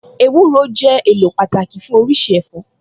Ewúro jẹ́ èlò pàtàkì fún oríṣi ẹ̀fọ́